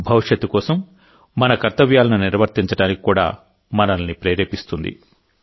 భవిష్యత్తు కోసం మన కర్తవ్యాలను నిర్వర్తించడానికి కూడా మనల్ని ప్రేరేపిస్తుంది